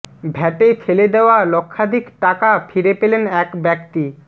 ভ্যাটে ফেলে দেওয়া লক্ষাধিক টাকা ফিরে পেলেন এক ব্যক্তি